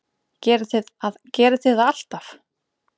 Gerið þið það alltaf?